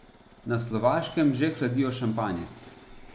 Na Slovaškem že hladijo šampanjec.